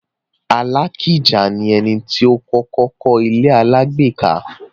Alakija ni ẹni tó kọ́kọ́ kọ́ ilé-alágbèéká.